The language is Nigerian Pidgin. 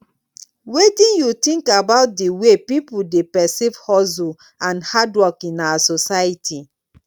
wetin you think about di way people dey perceive hustle and hard work in our society